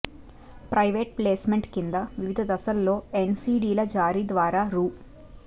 private placement కింద వివిధ దశలలో ఎన్సిడిల జారీ ద్వారా రూ